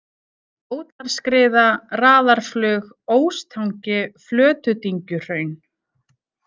Bótarskriða, Raðarflug, Óstangi, Flötudyngjuhraun